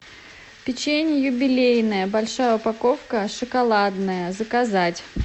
печенье юбилейное большая упаковка шоколадное заказать